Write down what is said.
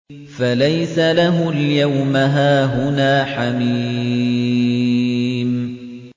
فَلَيْسَ لَهُ الْيَوْمَ هَاهُنَا حَمِيمٌ